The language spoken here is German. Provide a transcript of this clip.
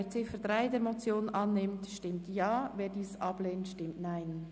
Wer diese als Motion annimmt stimmt Ja, wer dies ablehnt, stimmt Nein.